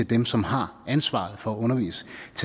dem som har ansvaret for at undervise